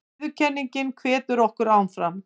Viðurkenningin hvetur okkur áfram